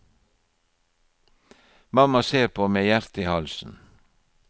Mamma ser på med hjertet i halsen.